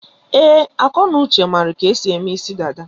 Ee, Akọnuche mara ka-esi eme isi dada.